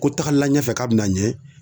Ko tagala ɲɛfɛ k'a bɛ na ɲɛ